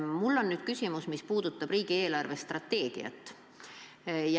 Mul on nüüd küsimus, mis puudutab riigi eelarvestrateegiat.